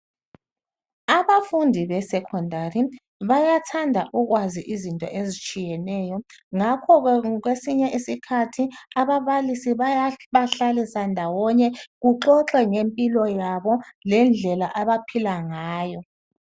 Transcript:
Abafundi be secondary bayathanda ukwazi izinto ezitshiyeneyo ngakho kwesinye isikhathi ababalisi bayabahlalisa ndawonye kuxoxwe ngempilo yabo lendlela abaphila ngayo.